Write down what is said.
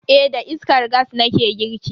Eh da iskar gas nake girki.